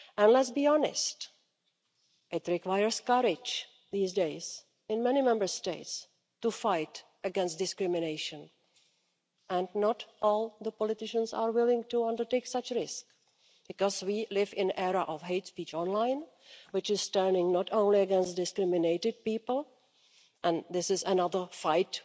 Let's be honest, it requires courage these days in many Member States to fight against discrimination and not all politicians are willing to undertake such a risk, because we live in an era of hate-speech online which is turning not only against discriminated people and this is another fight